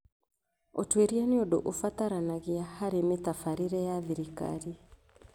Ũtuĩria nĩ ũndũ ũbataranagia harĩ mĩtabarĩre ya thirikari.